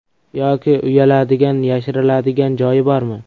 Yoki uyaladigan, yashiriladigan joyi bormi?